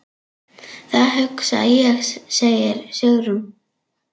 Það hugsa ég, segir Sigrún.